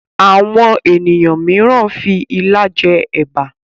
Àwọn ènìyàn míràn fí ìlà jé èbá.